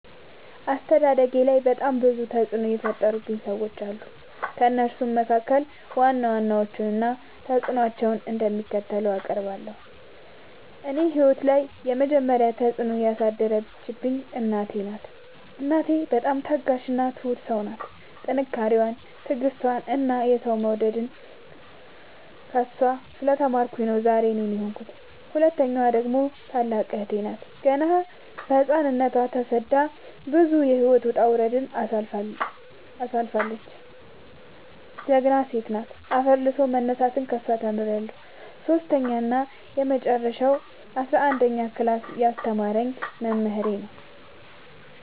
አስተዳደጌላይ በጣም ብዙ ተፅዕኖ የፈጠሩ ሰዎች አሉ። ከእነሱም መካከል ዋና ዋናዎቹን እና ተፅዕኖቸው እንደሚከተለው አቀርባለሁ። እኔ ህይወት ላይ የመጀመሪ ተፅዕኖ ያሳደረችብኝ እናቴ ናት። እናቴ በጣም ታጋሽ እና ትሁት ሰው ናት ጥንካሬን ትዕግስትን እና ሰው መውደድን ከእሷ ስለ ተማርኩኝ ነው ዛሬ እኔን የሆንኩት። ሁለተኛዋ ደግሞ ታላቅ እህቴ ናት ገና በህፃንነቶ ተሰዳ ብዙ የህይወት ወጣውረድ ያሳለፈች ጀግና ሴት አፈር ልሶ መነሳትን ከሷ ተምሬለሁ። ሰሶስተኛው እና የመጀረሻው አስረአንደኛ ክላስ ያስተማረኝ መምህሬ ነው።